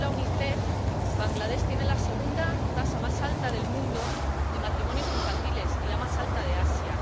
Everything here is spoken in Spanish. Según la Unicef, Bangladés tiene la segunda tasa más alta del mundo de matrimonios infantiles y la más alta de Asia.